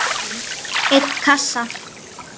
einn kassa?